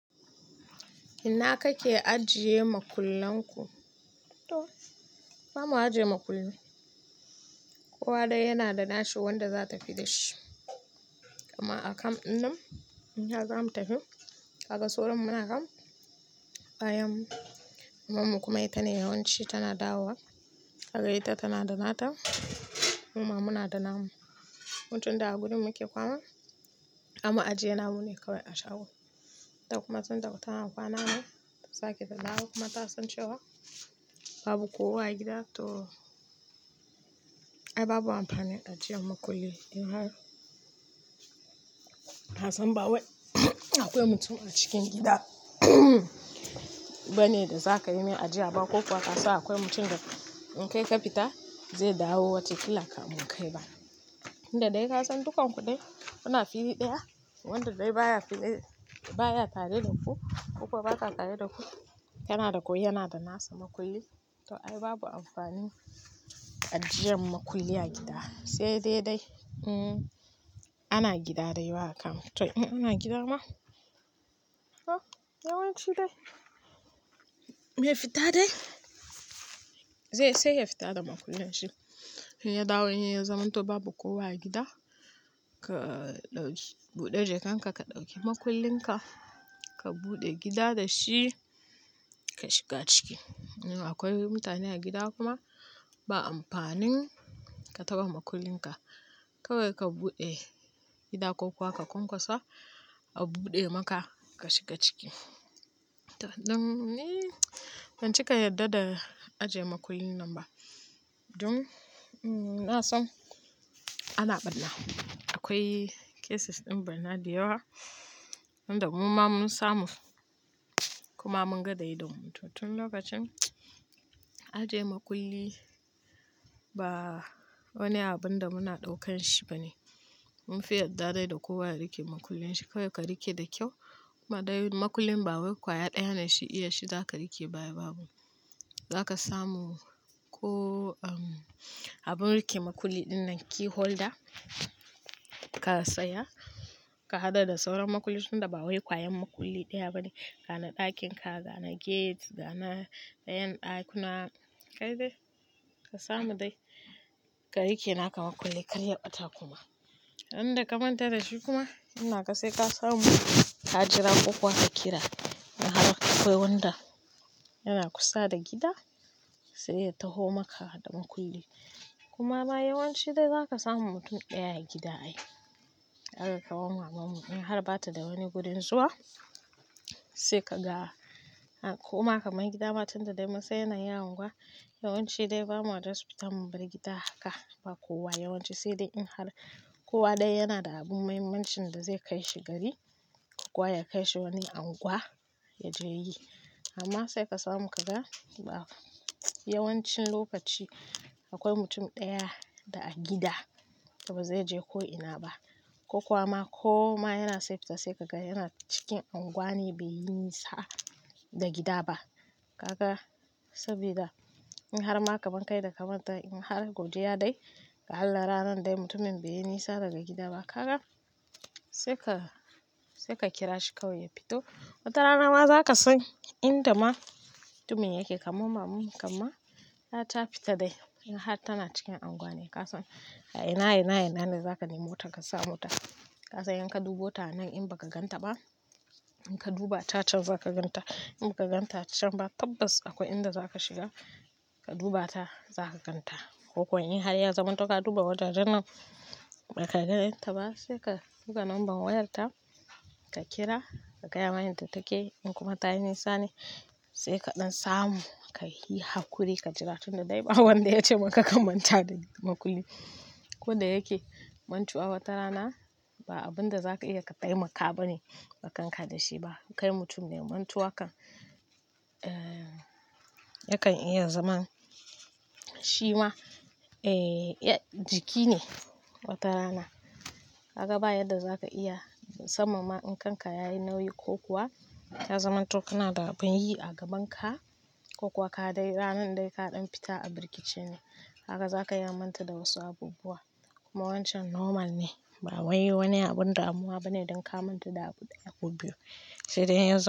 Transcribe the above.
Ina kake ajiye makullanku? To, ba mu ajiye makulli. Kowa dai yana da nashi wanda za tafi da shi. Amma a kam ɗin nan, in har zamu tafi, haka soron muna kam, bayan mamanmu, kuma ita ne yawanci tana dawo. Hagai ta tana da nata, muma muna da namun. Mutum da a gurin muke kwana, amma ajiye namu ne kawai a shago. Ta kuma tun da tana kwana nan, ta sake ta dawo kuma ta san cewa babu kowa a gida. To, ai babu amfanin ajiye makulli. In har ka san ba wai akwai mutum a cikin gida bane da za ka yi min ajiya ba ko kuwa ka sa akwai mutum da in kai ka fita zai dawo wacce kilaka mun kai ba. Inda dai ka san dukan ku ɗaya kuna fili ɗaya wanda dai baya tare da ku ko kuwa ba ka tare da ku, yana da ko yana da nasa makulli, to ai babu amfanin ajiyan makulli a gida. Sai dai dai, hmm, ana gida dai ba a kamfiti. In ana gidan ma, huh, yawanci dai, me ya fita dai? Zai sai yafita da makullanshi in yadawo inya zamanto babu kowa a gida ka dauki bude jikanka ka dauki makullinka ka buda gida dashi ka shiga ciki. In akwai mutane a gida kuma ba amfanin ka taba makullin ka. Kawai ka buɗe gida ko kuwa ka kunkasa a buɗe maka ka shiga ciki. To an ɗum ne, ban cika yarda da ajiye makullin nan ba. Dun, na san ana ɓarna. Akwai cases ɗin bana da yawa, wanda muma mun samu kuma mun ga da idammu. To tun lokacin ajiye makulli ba wani abun da muna ɗaukan shi bane. Mun fi yarda dai da kowa ya rike makullin shi. Kawai ka rike da kyau. Kuma dai makullin ba wai ƙwaya ɗaya ne shi iya shi za ka rike baya babu. Za ka samu ko, um, abun rike makulli dinnan key holder ka saya, ka haɗa da sauran makulli tun da ba wai ƙwayar makulli ɗaya bane. Ga na ɗakin ka, ga na gate, ga na ƴan ɗakuna. Kai dai ka samu dai ka rike naka makulli karye bata kuma. Inda kamanta da shi kuma, in naka sai ka samu ka jira ko kuwa ka kira. In har akwai wanda yana kusa da gida sai ya taho maka da makulli. Kuma ma yawanci dai za ka samu mutum ɗaya a gida ai. Haka kawai mamanmu in har bata da wani gurin zuwa sai ka ga. Ko ma ka mai gida ba tun da dai munsan yana yin unguwa. Yawanci dai ba mu yarda su fita mun bar gida haka ba kowa yawanci. Sai dai in har kowa dai yana da abu muhimmancin da zai kai shi gari ko kuwa ya kai shi wani anguwa ya je yi. Amma sai ka samu ka ga ba yawancin lokaci akwai mutum ɗaya da a gida da ba zai je ko ina ba ko kuwa ma ko ma yana sai fita sai ka ga yana cikin anguwanin bai yi nisa daga gida ba. Gaka sabida in har ma ka ban kai da kamanta in har godiya dai ka hallara nan dai mutumin bai yi nisa daga gida ba. Kaga sai ka, sai ka kira shi kawai ya fito. Wataranama zakasan inda ma mutumin yake. Kaman mamanmu kam ma, ta ta fita dai in har tana cikin anguwa ne. Ka san a ina, a ina, a ina ne za ka nemota ka sa mota. Ka san in ka dubata a nan in ba ka ganta ba, in ka duba ta can za ka ganta. In ba ka ganta ta can ba tabbas akwai inda za ka shiga ka duba ta za ka ganta. Ko kuwa in har ya zaman to ka duba wata janar ba ka ganta ba sai ka buka number wayarta ka kira ka gaya mani ta take. In kuma ta yi nisa ne sai kaɗan samu ka hi haƙuri ka jira tun da dai ba wanda ya ce maka ka manta da makulli. Ko da yake mantuwa watarana ba abin da za ka iya ka taimaka ba ne. Bakanka da shi ba. Kai mutum ne mantuwa kan, eh, yakan iya zaman shima, eh, ya jiki ne watarana. Kaga ba yarda za ka iya musamma ma in kanka yayi nauyi ko kuwa ya zaman to kana da abin yi a gaban ka ko kuwa ka dai ranan dai kaɗan fita a birkice ne. Haka za ka iya manta da wasu abubuwa. Kuma wancan normal ne. Ba wai wani abun damuwa ba ne don ka manta da abu ɗaya ko biyu. Sai dai in ya zama.